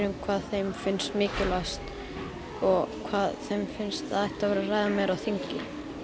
hvað þeim finnst mikilvægast og hvað þeim finnst að ætti að vera að ræða meira á þingi